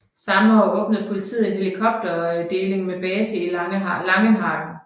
Samme år åbnede politiet en helikopterdeling med base i Langenhagen